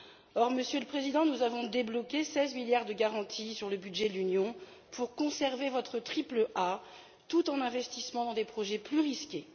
Or, Monsieur le Président, nous avons débloqué 16 milliards d'euros de garanties sur le budget de l'Union pour que vous conserviez votre triple A tout en investissant dans des projets plus risqués.